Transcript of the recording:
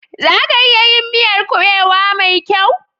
Za a iya yin miyar kuɓewa mai kyau?